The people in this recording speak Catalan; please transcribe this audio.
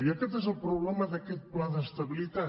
i aquest és el problema d’aquest pla d’estabilitat